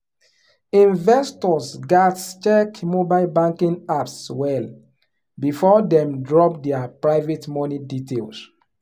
investors gats check mobile banking apps well before dem drop their private money details.